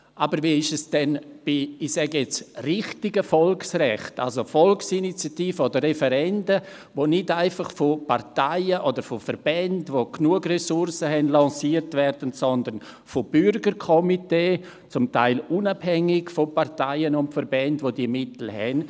Aber wie ist es denn bei «richtigen Volksbegehren», also Volksinitiativen oder Referenden, die nicht einfach von Parteien, die genügend Ressourcen haben, lanciert werden, sondern von Bürgerkomitees, die zum Teil von den Parteien und Verbänden unabhängig sind, die diese Mittel besitzen?